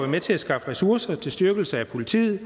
med til at skaffe ressourcer til styrkelse af politiet